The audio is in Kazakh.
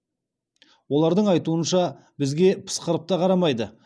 олардың айтуынша бізге пысқырып та қарамайды